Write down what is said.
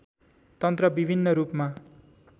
तन्त्र विभिन्न रूपमा